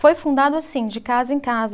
Foi fundado assim, de casa em casa.